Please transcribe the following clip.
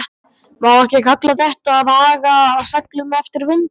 Má ekki kalla þetta að haga seglum eftir vindi?